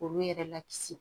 Olu yɛrɛ la kisi